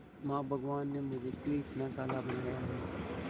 मां भगवान ने मुझे क्यों इतना काला बनाया है